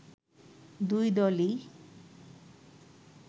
দুই দলই